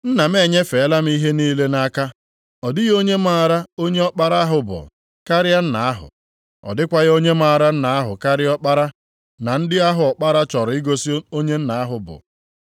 “Nna m enyefeela m ihe niile nʼaka. Ọ dịghị onye maara onye Ọkpara ahụ bụ, karịa Nna ahụ. Ọ dịkwaghị onye maara Nna ahụ karịa Ọkpara na ndị ahụ Ọkpara chọrọ igosi onye Nna ya bụ.”